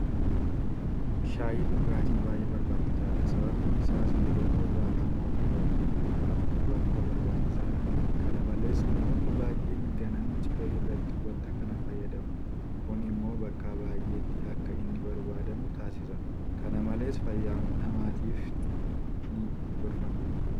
Shaayiin dhugaatii baay'ee barbaachisaadha. Sababiin isaas yeroo qorraa qaama ofii ho'ifachuudhaf waanta barbaachisaadha. Kana malees namoonni baay'een ganama ciree irratti waanta kana fayyadamu. Kun immoo bakka baay'eetti akka inni barbaadamu taasisa. Kana malees fayyaa namaatiifis ni gorfama.